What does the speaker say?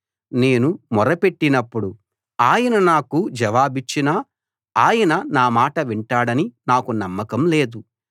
నేను మొరపెట్టినప్పుడు ఆయన నాకు జవాబిచ్చినా ఆయన నా మాట వింటాడని నాకు నమ్మకం లేదు